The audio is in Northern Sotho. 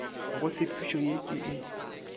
go tshepišo ye ke e